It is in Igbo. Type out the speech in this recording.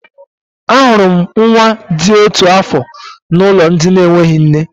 Ahụrụ m nwa dị otu afọ n'ụlọ ndị enweghị nne.